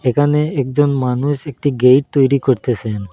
এখানে একজন মানুষ একটি গেইট তৈরি করতেসেন।